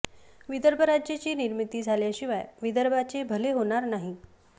विदर्भ राज्याची निर्मिती झाल्याशिवाय विदर्भाचे भले होणार नाही